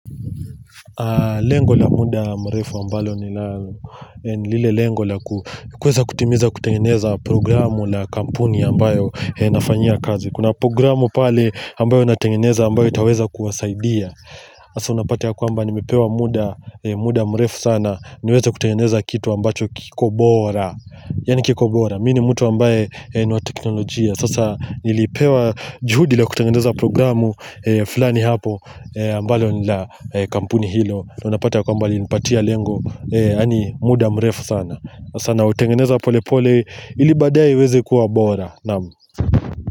Lengo la muda mrefu ambalo ni la ni lile lengo la kuweza kutimiza kutengeneza programu la kampuni ambayo nafanyia kazi Kuna programu pale ambayo natengeneza ambayo itaweza kuwasaidia hasa unapata ya kwamba nimepewa muda muda mrefu sana niweze kutengeneza kitu ambacho kiko bora Yaani kiko bora, mi ni mtu ambaye ni wa teknolojia Sasa nilipewa juhudi la kutengeneza programu fulani hapo ambalo ni la kampuni hilo Unapata ya kwamba walinipatia lengo yaani muda mrefu sana Sasa nautengeneza pole pole ili baadae iweze kuwa bora Naam.